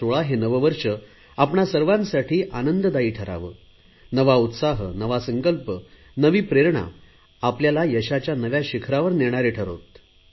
2016 हे नववर्ष आपणा सर्वांसाठी आनंददायी ठरावे नवा उत्साह नवा संकल्प नवी प्रेरण आपल्याला यशाच्या नव्या शिखरावर नेणारे ठरोत